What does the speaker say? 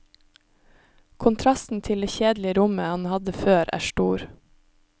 Kontrasten til det kjedelige rommet han hadde før, er stor.